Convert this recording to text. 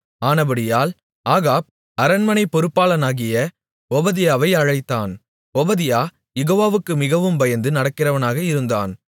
ஆனபடியால் ஆகாப் அரண்மனைப் பொருப்பாளனாகிய ஒபதியாவை அழைத்தான் ஒபதியா யெகோவாவுக்கு மிகவும் பயந்து நடக்கிறவனாக இருந்தான்